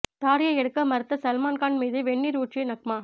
தாடியை எடுக்க மறுத்த சல்மான் கான் மீது வெந்நீர் ஊற்றிய நக்மா